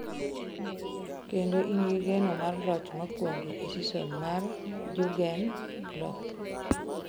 Kendo in gi geno mar loch mokwongo e seson mar Jurgen Klopp.